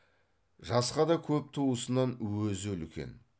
жасқа да көп туысынан өзі үлкен